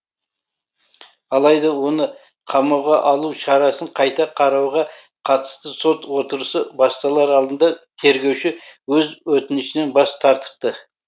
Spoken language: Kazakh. алайда оны қамауға алу шарасын қайта қарауға қатысты сот отырысы басталар алдында тергеуші өз өтінішінен бас тартыпты